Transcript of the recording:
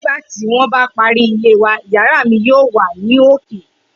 Nigbati won ba ti pari ile wa yara mi yoo wa ni oke